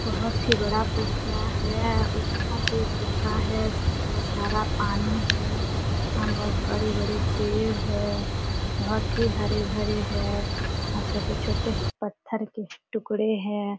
बहुत ही बड़ा पोखरा है उस तरफ भी एक पोखरा है जिसमे बहुत सारा पानी है वहा बहुत बड़े -बड़े पेड़ है बहुत ही हरे भरे है वहा छोटे- छोटे पत्थर के टुकड़े है।